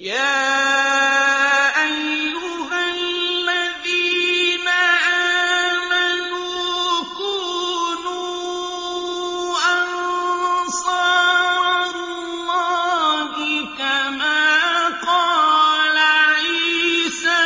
يَا أَيُّهَا الَّذِينَ آمَنُوا كُونُوا أَنصَارَ اللَّهِ كَمَا قَالَ عِيسَى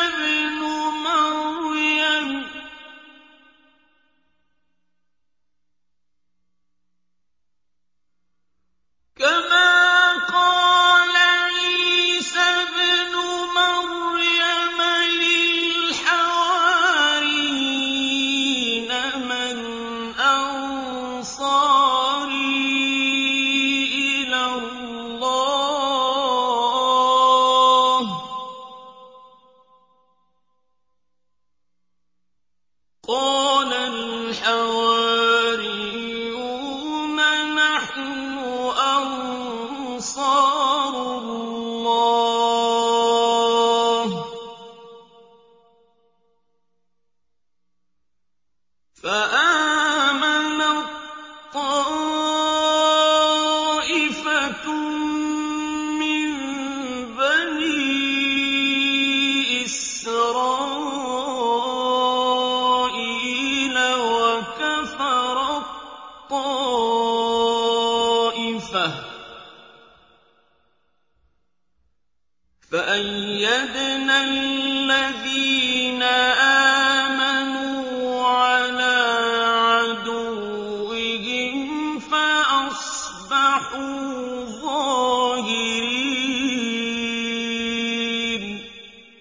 ابْنُ مَرْيَمَ لِلْحَوَارِيِّينَ مَنْ أَنصَارِي إِلَى اللَّهِ ۖ قَالَ الْحَوَارِيُّونَ نَحْنُ أَنصَارُ اللَّهِ ۖ فَآمَنَت طَّائِفَةٌ مِّن بَنِي إِسْرَائِيلَ وَكَفَرَت طَّائِفَةٌ ۖ فَأَيَّدْنَا الَّذِينَ آمَنُوا عَلَىٰ عَدُوِّهِمْ فَأَصْبَحُوا ظَاهِرِينَ